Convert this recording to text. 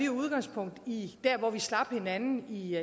udgangspunkt i der hvor vi slap hinanden i i